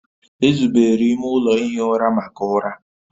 Ezubere ime ụlọ ihi ụra maka ụra